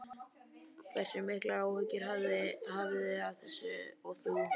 Hversu miklar áhyggjur hafið þið af þessu og þú?